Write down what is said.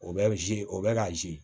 O bɛ zi o bɛ ka zi